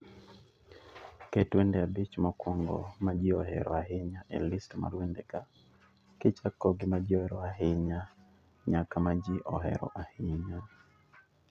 Ket wende abich mokwongo ma ji ohero ahinya e list mar wendega, kichako gi ma ji ohero ahinya nyaka ma ji ohero ahinya.